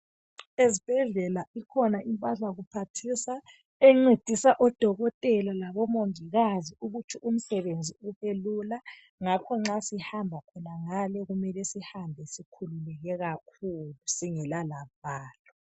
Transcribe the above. Ezibhedlela ikhona impahla kuphathisa encedisa odokotela labomongikazi ukuthi umsebenzi ubelula. Ngakho nxa sihamba khonangale kumele sihambe sikhululeke kakhulu singela lavalo